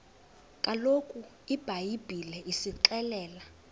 kaloku ibhayibhile isixelela